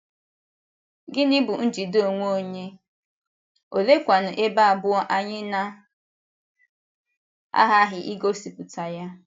Gịnị bụ njide onwe onye?, oleekwanu ebe abụọ anyị na - aghaghị igosipụta ya?